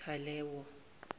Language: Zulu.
talewo